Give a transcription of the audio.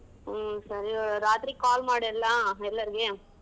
ಹ್ಮ್ ಸರಿ ರಾತ್ರಿ call ಮಾಡ್ ಎಲ್ಲಾ ಎಲ್ಲರ್ಗೆ.